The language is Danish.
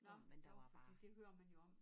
Nå nå fordi det hører man jo om